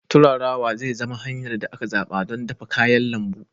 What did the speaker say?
Turarawa zai zama hanyar da aka zaɓa don dafa kayan lambu.